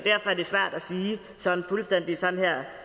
sådan fuldstændig